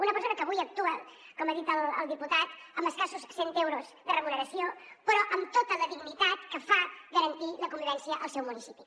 una persona que avui actua com ha dit el diputat amb escassos cent euros de remuneració però amb tota la dignitat que fa garantir la convivència al seu municipi